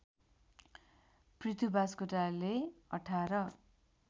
Prithu Baskotale १८